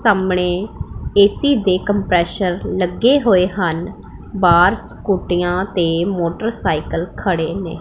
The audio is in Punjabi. ਸਾਹਮਣੇ ਐ_ਸੀ ਦੇ ਕੰਪ੍ਰੇਸ਼ਰ ਲੱਗੇ ਹੋਏ ਹਨ ਬਾਹਰ ਸਕੂਟਿਆਂ ਤੇ ਮੋਟਰਸਾਈਕਲ ਖੜੇ ਨੇਂ।